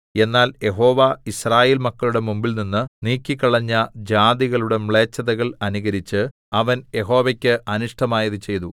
എന്നാൽ യഹോവ യിസ്രായേൽ മക്കളുടെ മുമ്പിൽനിന്ന് നീക്കിക്കളഞ്ഞ ജാതികളുടെ മ്ലേച്ഛതകൾ അനുകരിച്ച് അവൻ യഹോവയ്ക്ക് അനിഷ്ടമായത് ചെയ്തു